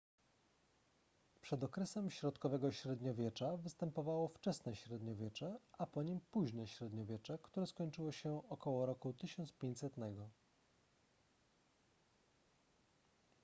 przed okresem środkowego średniowiecza występowało wczesne średniowiecze a po nim późne średniowiecze które skończyło się około roku 1500